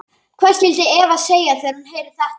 Hvað skyldi Eva segja þegar hún heyrir þetta?